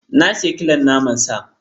Na sayi kilon naman sa.